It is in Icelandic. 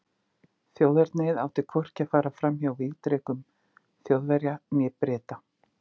Þjóðernið átti hvorki að fara fram hjá vígdrekum Þjóðverja né Breta.